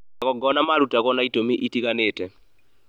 magongona marutagwo na itũmi itiganĩte